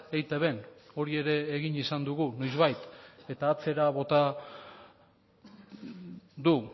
eitbn hori ere egin izan dugu noizbait eta atzera bota du